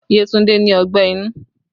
Yetunde ní ọgbẹ́ inú